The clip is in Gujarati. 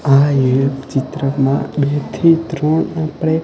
આ એક ચિત્રમા બે થી ત્રણ આપડે--